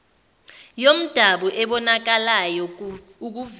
yomdabu ebonakalayo ukuvela